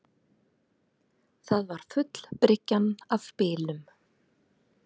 Það var full bryggjan af bílum